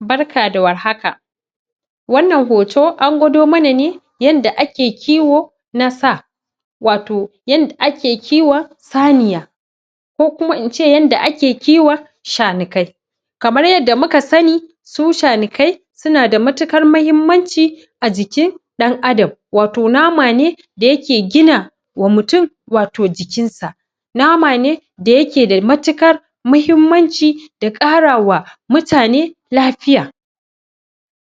Barka da warhaka Wannan hoto an gwado mana ne yanda ake kiwo na sa wato yanda ake kiwon saniya. ko kuma in ce yadda ake kiwon shanakai kamar yadda muka sani su shanakai suna da matuƙar muhimmanci ajikin ɗan'adam, wato nama ne da yake gina wa mutum jikinsa. nama ne da yake da matuƙar muhimmanci da ƙara wa mutane lafiya.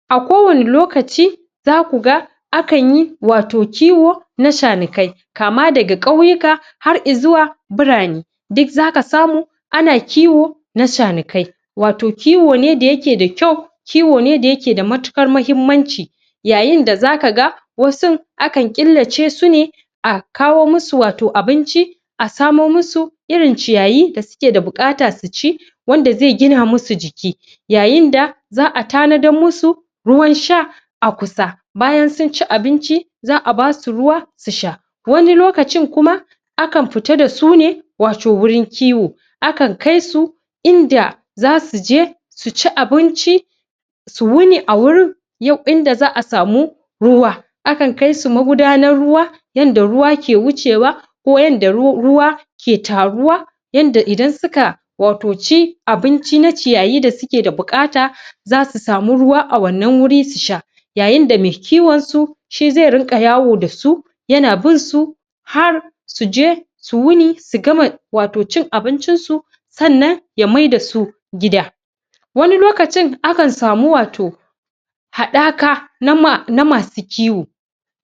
A kowane lokaci za ku ga akanyi wato kiwo na shanakai kama daga ƙauyuka har ya zuwa birane. Duk za ka samu ana kiwo na shanakai. Wato kiwo ne da yake da kyau Kiwo ne da yake da matuƙar muhimmanci yayin da za ka ga wasu akan killace su ne a kawo musu wato abinci a samo musu irin ciyayi da suke buƙata su ci wanda zai gina musu jiki. ya yinda za a tanadar musu ruwansha a kusa bayan sun ci abinci za a ba su ruwa su sha, wani lokacin kuma akan fita da su ne wato wurin kiwo akan kai su in da za su je su ci abinci su wuni a wurin yau in da za a sami ruwa akan kai su magudanar ruwa, in da ruwa ke wucewa ko in da ruwa ke taruwa, yanda idan suka wato ci abinci na ciyayi da suke buƙata za su samu ruwa a wannan wuri su sha. yayin da mai kiwon su shi zai dinga yawo da su yana bin su har su je su wuni su gama wato cin abincinsu sannan ya maida su gida wani lokacin akan samu wato haɗaka na masu kiwo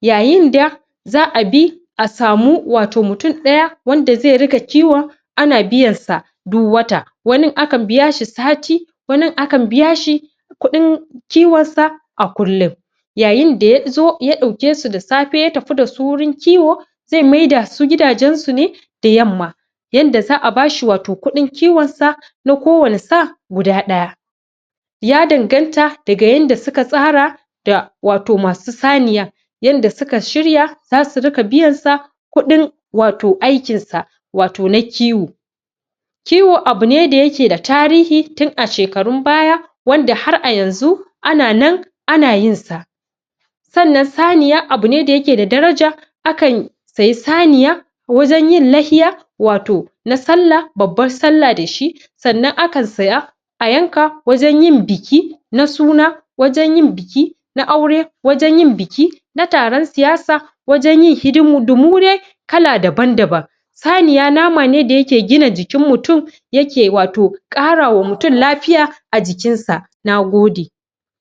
yayin da za a bi a samu mutum ɗaya wanda zai riƙa kiwon ana biyansa duk wata. Wani akan biya shi sati wani akan biya shi kuɗin kiwonsa a kullum. yayin da ya zo ɗauke su da safe ya tafi da su wurin kiwo zai mada su gidajensu ne da yamma yanda za a ba shi wato kuɗin kiwonsa, na kowane sa guda ɗaya. ya danganta daga yadda suka tsara da masu saniyar, yadda suka shirya za su riƙa biyansa kuɗin wato aikinsa wato na kiwo kiwo abu ne da yake da tarihi tun a shekarun baya wanda har a yanzu ana nan ana yinsa. sannan saniya abune da yake da daraja akan siyi saniya wajen yin layya na sallah babban sallah da shi sannan akan siya a yanka wajen yin biki na suna wajen yin biki na aure wajen yin biki na taron siyasa wajen yin hidindimu dai dabam-daban saniya nama ne da yake gina jikin mutum yake wato ƙara wa mutum lafiya, Na gode.